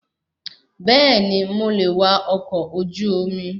Bẹẹni, mo le è wá ọkọ̀ ojú omi